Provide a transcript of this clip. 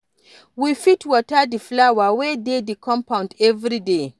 We fit water di flower wey dey di compound everyday